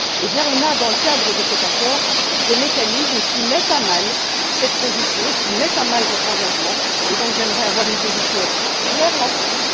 Eh bien, nous avons, dans le cadre de cet accord, des mécanismes qui mettent à mal cette position, qui mettent à mal votre engagement et donc j'aimerais avoir une position claire là dessus.